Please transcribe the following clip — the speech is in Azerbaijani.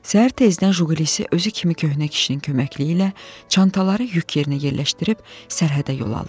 Səhər tezdən Jili özü kimi köhnə kişinin köməkliyi ilə çantaları yük yerinə yerləşdirib sərhədə yol aldıq.